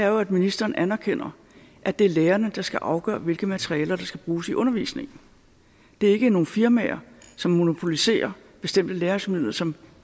er at ministeren anerkender at det er lærerne der skal afgøre hvilke materialer der skal bruges i undervisningen det er ikke nogle firmaer som monopoliserer bestemte læringsmidler som